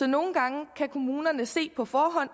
nogle gange kan kommunerne se på forhånd